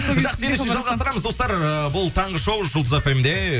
жақсы ендеше жалғастырамыз достар ы бұл таңғы шоу жұлдыз фмде